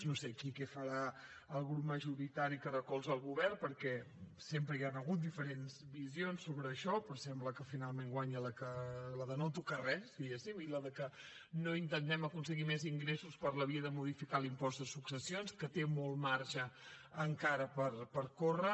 no sé aquí que farà el grup majoritari que recolza el govern perquè sempre hi han hagut diferents visions sobre això però sembla que finalment guanya la de no tocar res diguéssim i la que no intentem aconseguir més ingressos per la via de modificar l’impost de successions que té molt marge encara per córrer